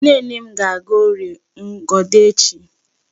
Nnenne m ga-aga Órìè Ngodo echi.